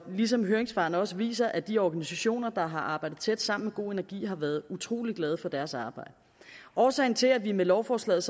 ligesom høringssvarene også viser at de organisationer der har arbejdet tæt sammen med go energi har været utrolig glade for deres arbejde årsagen til at vi med lovforslaget